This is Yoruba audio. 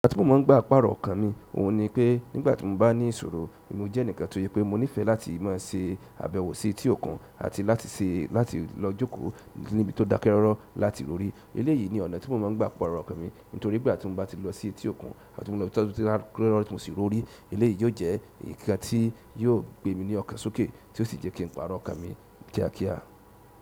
Ọ̀nà tí mo máa ń gbà pàrò ọkàn mi, òun ni pé nígbà tí mo bá ní ìṣòro, mo jẹ́ ẹnìkan to se pé mo nífẹ̀ẹ́ láti máa ṣe àbẹ̀wò sí etí òkun àti láti ṣe láti lọ jókòó níbi tó dákẹ́ rọ́rọ́ láti rorí. Eleyìí ní ọ̀nà tí mo máa ń gbà pàrọ̀ ọkàn mi, nítorí pé nígbà tí mo bá ti lo sí etí òkun àti tí mo bá ti lo sí ibi tí ó dákẹ́ rọ́rọ́ tí mo sì rorí, eleyìí yóò jẹ́ nǹkan tí yóò gbé mi ní ọ̀kàn sókè, tí ó sì jẹ́ kin pàrọ̀ ọkàn mi kíákíá.